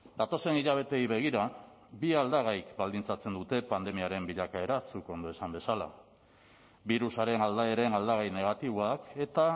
datozen hilabeteei begira bi aldagaik baldintzatzen dute pandemiaren bilakaera zuk ondo esan bezala birusaren aldaeren aldagai negatiboak eta